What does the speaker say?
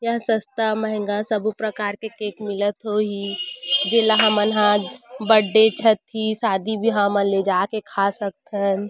यहाँ सस्ता मेहंगा सभी प्रकार के केक मिलत होही जेला हमन हा बर्थडे छट्टी शादी बिहाव म लेजाके खा सकथन--